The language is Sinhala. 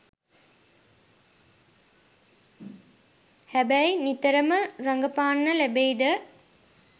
හැබැයි නිතරම රඟපාන්න ලැබෙයිද